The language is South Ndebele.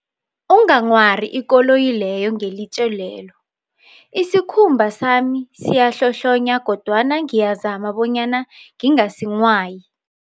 Unganghwari ikoloyi leyo ngelitje lel, isikhumba sami siyahlohlonya kodwana ngiyazama bonyana ngingasinghwayi.